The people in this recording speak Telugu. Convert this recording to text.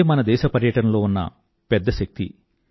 ఇదే మన దేశ పర్యాటనలో ఉన్న పెద్ద శక్తి